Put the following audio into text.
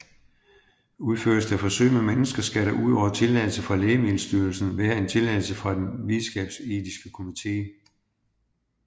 Udføres der forsøg med mennesker skal der udover tilladelse fra Lægemiddelstyrelsen være en tilladelse fra en videnskabsetisk komité